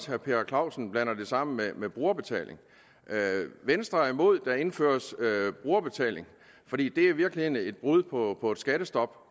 herre per clausen blander det sammen med med brugerbetaling venstre er imod at der indføres brugerbetaling for det er i virkeligheden et brud på et skattestop